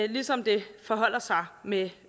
ligesom det forholder sig med